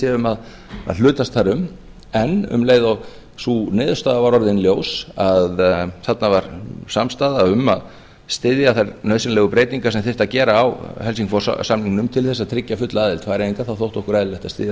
séum að hlutast þar um en um leið og sú niðurstaða var orðin ljós að þarna var samstaða um að styðja þær nauðsynlegu breytingar sem þyrfti að gera á helsingfors samningnum til þess að tryggja fulla aðild færeyinga þá þótti okkur eðlilegt að styðja